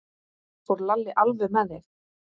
Fór Lalli alveg með þig?